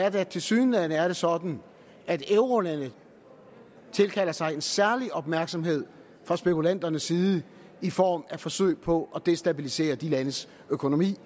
at det tilsyneladende er sådan at eurolande tilkalder sig en særlig opmærksomhed fra spekulanternes side i form af forsøg på at destabilisere de landes økonomi